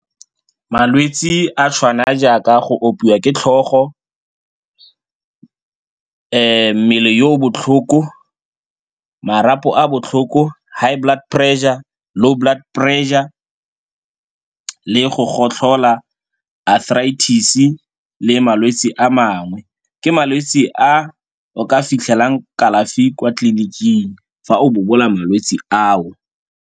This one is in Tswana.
Malwetse a tshwana jaaka go opiwa ke tlhogo, mmele yo botlhoko, marapo a botlhoko, high blood pressure, low blood pressure le go gotlhola, arthritis-e le malwetse a mangwe. Ke malwetse a o ka fitlhelang kalafi kwa tleliniking fa o bobola malwetse ao.